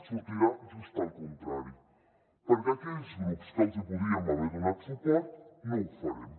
sortirà just el contrari perquè aquells grups que els hi podríem haver donat suport no ho farem